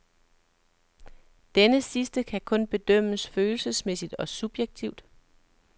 Denne sidste kan kun bedømmes følelsesmæssigt og subjektivt.